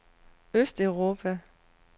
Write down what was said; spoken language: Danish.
østeuropa